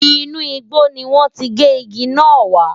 Inú igbó ni wọ́n ti gé igi náà wá.